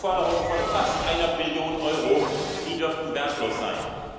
Deutschland hat Forderungen von fast einer Billion Euro, die dürften wertlos sein.